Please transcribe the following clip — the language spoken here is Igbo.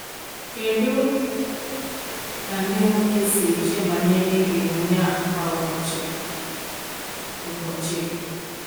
Kedu ka ndị nwoke si eche banyere emume a kwa ụbọchị? ụbọchị?